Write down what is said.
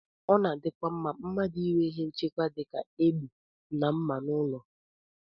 Ọ na-adịkwa mma mmadụ inwe ihe nchekwa dị ka egbe na mma n'ụlọ